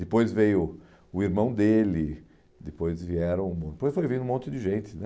Depois veio o irmão dele, depois vieram... depois foi vindo um monte de gente,